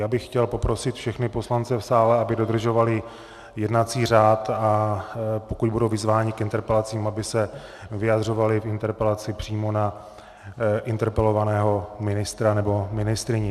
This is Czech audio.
Já bych chtěl poprosit všechny poslance v sále, aby dodržovali jednací řád, a pokud budou vyzváni k interpelacím, aby se vyjadřovali k interpelaci přímo na interpelovaného ministra nebo ministryni.